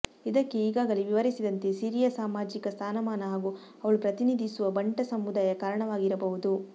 ಇದಕ್ಕೆ ಈಗಾಗಲೇ ವಿವರಿಸಿದಂತೆ ಸಿರಿಯ ಸಾಮಾಜಿಕ ಸ್ಥಾನಮಾನ ಹಾಗೂ ಅವಳು ಪ್ರತಿನಿಧಿಸುವ ಬಂಟ ಸಮುದಾಯ ಕಾರಣವಾಗಿರಬಹುದು